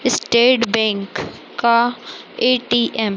state Bank का ATM